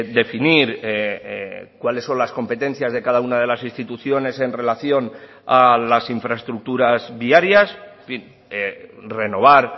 definir cuáles son las competencias de cada una de las instituciones en relación a las infraestructuras viarias en fin renovar